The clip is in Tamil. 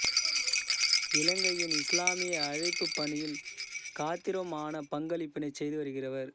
இலங்கையின் இஸ்லாமிய அழைப்புப் பணியில் காத்திரமான பங்களிப்பினைச் செய்து வருகிறவர்